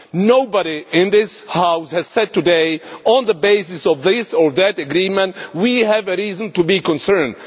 Nobody in this House has said today, on the basis of this or that agreement, that we have reason to be concerned.